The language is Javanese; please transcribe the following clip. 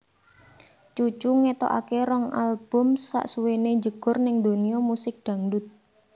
Cucu ngetokake rong album sasuwené njegur ning donya musik dangdut